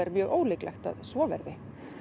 mjög ólíklegt að svo verði